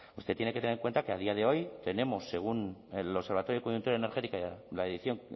usted tiene que tener en cuenta que a día de hoy tenemos según el observatorio de coyuntura energética la edición